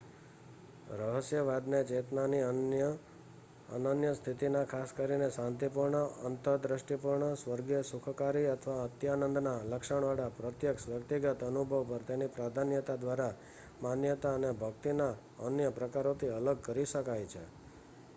રહસ્યવાદને ચેતનાની અનન્ય સ્થિતિના ખાસ કરીને શાંતિપૂર્ણ અંતર્દૃષ્ટિપૂર્ણ સ્વર્ગીય સુખકારી અથવા અત્યાનંદના લક્ષણવાળા પ્રત્યક્ષ વ્યક્તિગત અનુભવ પર તેની પ્રાધાન્યતા દ્વારા માન્યતાના અને ભક્તિના અન્ય પ્રકારોથી અલગ કરી શકાય છે